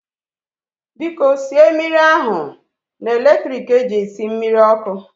Biko sie mmiri ahu na electrik eji esi mmiri ọkụ